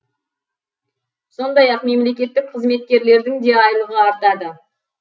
сондай ақ мемлекеттік қызметтегілердің де айлығы артады